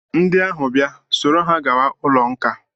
Ndị ahụ bịa, soro ha gawa ụlọ nkà!